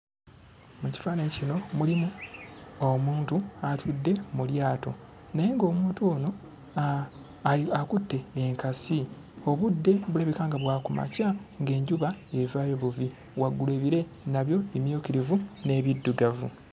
Mu kifaananyi kino mulimu omuntu atudde mu lyato naye ng'omuntu ono a ai akutte enkasi, obudde bulabika nga bwa ku makya ng'enjuba evaayo buvi. Waggulu ebire nabyo bimyukirivu n'ebiddugavu.